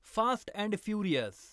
fast and furious